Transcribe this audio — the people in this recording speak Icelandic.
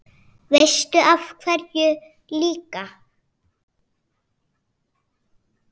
Veistu af hverju líka?